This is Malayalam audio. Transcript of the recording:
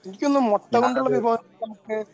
ഞാനത്